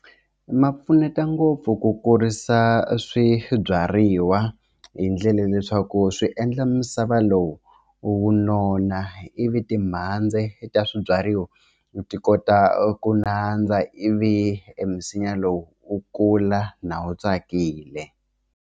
Ma pfuneta ngopfu ku kurisa swibyariwa hi ndlela leswaku swi endla misava lowu wu nona ivi timhandzi ta swibyariwa ti kota ku nandza ivi e misinya lowu wu kula na wu tsakile.